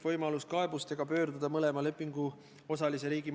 Ma palun katkestamise ettepanekut ka kirjalikult.